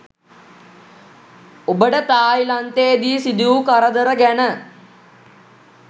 ඔබට තායිලන්තේදී සිදු වූ කරදර ගැන